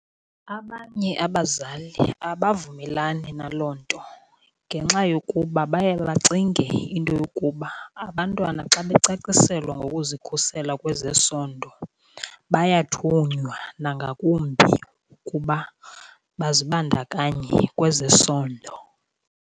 Abanye abazali abavumelani naloo nto ngenxa yokuba baye bacinge into yokuba abantwana xa becaciselwa ngokuzikhusela kwezesondo bayathunywa nangakumbi kuba bazibandakanye kwezesondo.